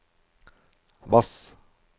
bass